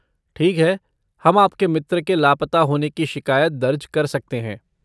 ठीक है, हम आपके मित्र के लापता होने की शिकायत दर्ज कर सकते हैं।